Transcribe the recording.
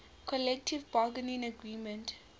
collective bargaining agreement